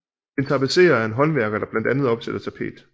En tapetserer er en håndværker der blandt andet opsætter tapet